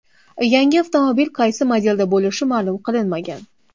Yangi avtomobil qaysi modelda bo‘lishi ma’lum qilinmagan.